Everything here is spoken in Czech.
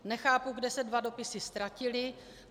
Nechápu, kde se dva dopisy ztratily.